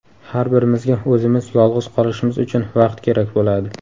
Har birimizga o‘zimiz yolg‘iz qolishimiz uchun vaqt kerak bo‘ladi.